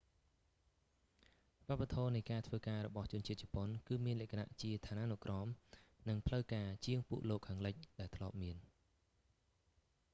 វប្បធម៌នៃការធ្វើការរបស់ជនជាតិជប៉ុន គឺមានលក្ខណៈជាឋានានុក្រម និងផ្លូវការជាងពួកលោកខាងលិច ដែលធ្លាប់មាន